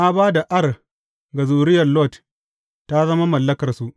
Na ba da Ar ga zuriyar Lot, ta zama mallakarsu.